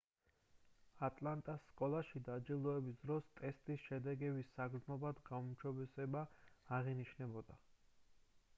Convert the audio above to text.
ატლანტას სკოლებში დაჯილდოების დროს ტესტის შედეგების საგრძნობლად გაუმჯობესება აღინიშნებოდა